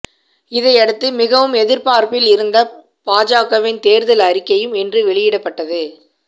இதையடுத்து மிகவும் எதிர்பார்ப்பில் இருந்த பாஜகவின் தேர்தல் அறிக்கையும் இன்று வெளியிடப்பட்டது